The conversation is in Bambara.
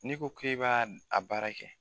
N'i ko k'i b'a a baara kɛ